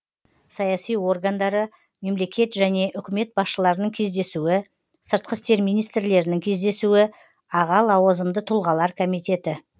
саяси органдары бір мемлекет және үкімет басшыларының кездесуі екі сыртқы істер министрлерінің кездесуі үш аға лауазымды тұлғалар комитеті